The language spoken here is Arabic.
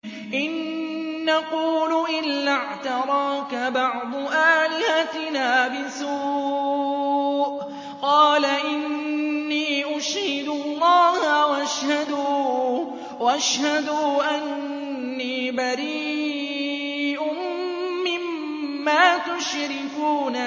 إِن نَّقُولُ إِلَّا اعْتَرَاكَ بَعْضُ آلِهَتِنَا بِسُوءٍ ۗ قَالَ إِنِّي أُشْهِدُ اللَّهَ وَاشْهَدُوا أَنِّي بَرِيءٌ مِّمَّا تُشْرِكُونَ